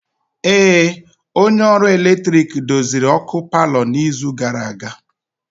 Ee, onye ọrụ ọkụ eletrik doziri ọkụ palọ n'izu gara aga.